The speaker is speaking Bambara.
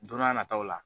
Don n'a nataw la